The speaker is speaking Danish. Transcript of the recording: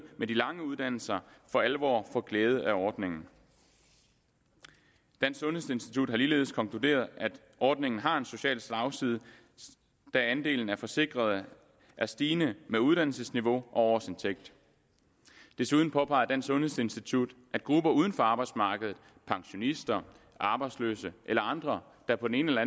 med de lange uddannelser for alvor får glæde af ordningen dansk sundhedsinstitut har ligeledes konkluderet at ordningen har en social slagside da andelen af forsikrede er stigende med uddannelsesniveau og årsindtægt og desuden påpeger dansk sundhedsinstitut at grupper uden for arbejdsmarkedet pensionister arbejdsløse eller andre der på den ene eller